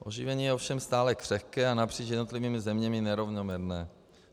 Oživení je ovšem stále křehké a napříč jednotlivými zeměmi nerovnoměrné.